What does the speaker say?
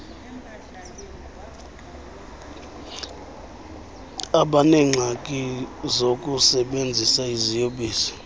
abaneengxaki zokusebenzisa iziyobisi